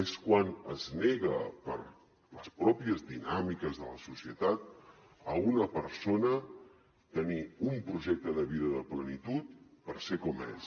és quan es nega per les pròpies dinàmiques de la societat a una persona tenir un projecte de vida de plenitud per ser com és